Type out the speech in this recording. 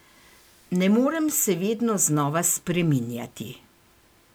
Ne morem se vedno znova spreminjati.